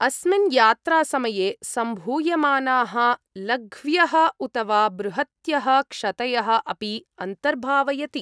अस्मिन् यात्रासमये सम्भूयमानाः लघ्व्यः उत वा बृहत्यः क्षतयः अपि अन्तर्भावयति।